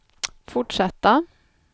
fortsätta